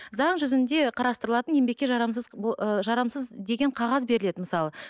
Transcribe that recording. заң жүзінде қарастырылатын еңбекке жарамсыз ы жарамсыз деген қағаз беріледі мысалы